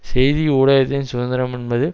செய்தி ஊடகத்தின் சுதந்திரம் என்பது